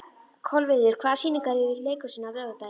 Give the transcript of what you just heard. Kolviður, hvaða sýningar eru í leikhúsinu á laugardaginn?